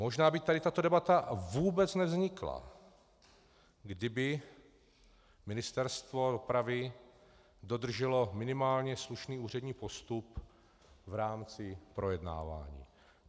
Možná by tady tato debata vůbec nevznikla, kdyby Ministerstvo dopravy dodrželo minimálně slušný úřední postup v rámci projednávání.